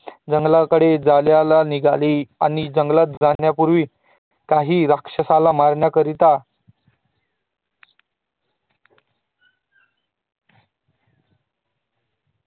जंगलाकडे जायला निघाले आणि जगलात जाण्या पूर्वी काही राक्षसाला मारण्या करिता